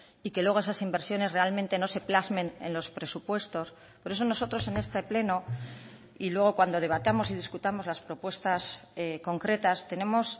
y que luego esas inversiones realmente no se plasmen en los presupuestos por eso nosotros en este pleno y luego cuando debatamos y discutamos las propuestas concretas tenemos